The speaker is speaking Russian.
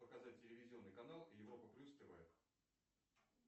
показать телевизионный канал европа плюс тв